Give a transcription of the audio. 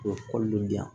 U bɛ kɔli lujura